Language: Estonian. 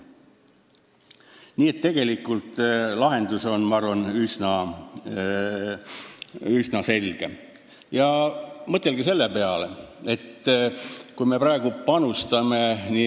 Nii et tegelikult on lahendus üsna selge, ma arvan.